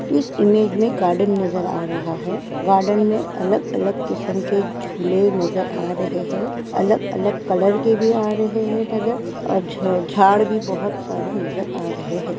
इस इमेज में गार्डन नज़र आ रहा है। गार्डन में अलग-अलग किसम के झूले नजर आ रहे हैं। अलग-अलग कलर के भी आ रहे हैं। नज़र और झ-झाड़ भी बहुत सारे नज़र आ रहे हैं।